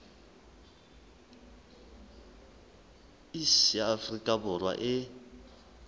iss ya afrika borwa e